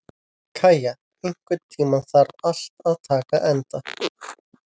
Kæja, einhvern tímann þarf allt að taka enda.